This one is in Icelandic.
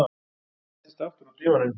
Ég settist aftur á dívaninn.